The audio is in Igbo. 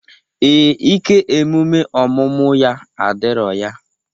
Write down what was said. Ee, ike emume ọmụmụ ya adirọ ya.